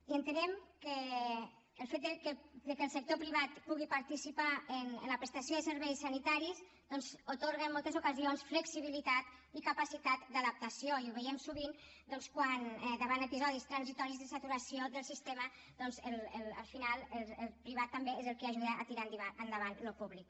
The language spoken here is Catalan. i entenem que el fet que el sector privat pugui participar en la prestació de serveis sanitaris doncs atorga en moltes ocasions flexibilitat i capacitat d’adaptació i ho veiem sovint quan davant d’episodis transitoris de saturació del sistema al final el privat també és el que ajuda a tirar endavant el públic